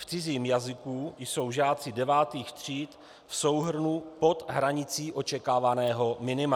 V cizím jazyku jsou žáci devátých tříd v souhrnu pod hranicí očekávaného minima.